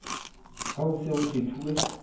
ha ho se ho kgethuwe